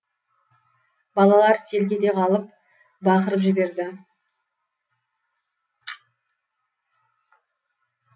балалар селк ете қалып бақырып жіберді